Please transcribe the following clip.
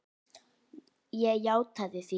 Ég játaði því.